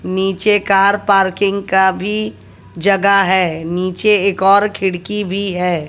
नीचे car parking का भी जगह है नीचे एक और खिड़की भी है।